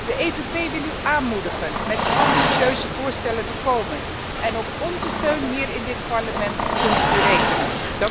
De EVP wil u aanmoedigen met ambitieuze voorstellen te komen en op onze steun hier in dit Parlement kunt u rekenen.